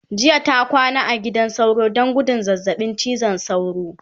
jiya ta kwana a gidan sauro Dan gudun zazzaɓin cizon sauro